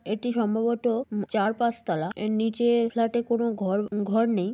এটি সম্ভবত উম চার পাঁচ তলা। এর নিচের ফ্ল্যাট (flat)-এ কোন ঘর ঘর নেই।